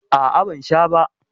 A'a, ban sha ba.